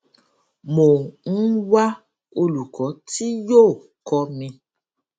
mo ń wá olùkọ tí yóò kọ mi